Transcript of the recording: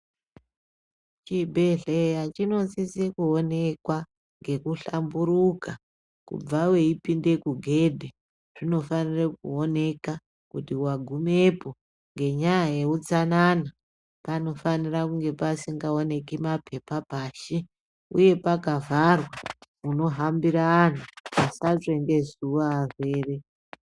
Chibhedhleya chinosise kuonekwa ngekuhlamburuka kubva veipinde kugedhi. Zvinofanire kuoneka kuti wagumwepo ngenyaya yeutsanana panofanire kunge pazingaoneki mapepa pashi, uye pakavharwa munohambira antu kuti asatsva ngezuwa arwere.